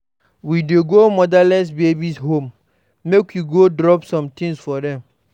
We dey go motherless babies home make we go drop some tins for dem.